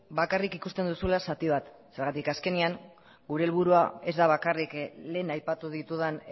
bakarrik ikusten duzula zati bat zergatik azkenean gure helburua ez da bakarrik lehen aipatu ditudan